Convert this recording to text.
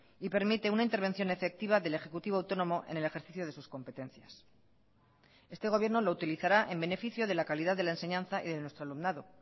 y permite una intervención efectiva del ejecutivo autónomo en el ejercicio de sus competencias este gobierno lo utilizará en beneficio de la calidad de la enseñanza y de nuestro alumnado